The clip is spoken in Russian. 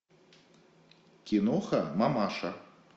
киноха мамаша